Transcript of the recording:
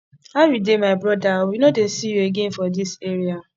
how you dey my broda we no dey see you again for dis area